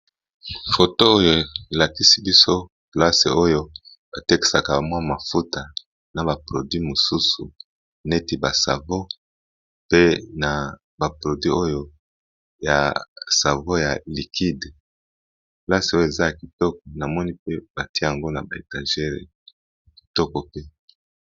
Photo oyo elakisi biso esika batekaka ba mafuta ya kopakola namoni eza esika moko yakitoko